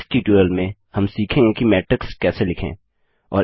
इस ट्युटोरियल में हम सीखेंगे कि मैट्रिक्स मैट्रिक्स कैसे लिखें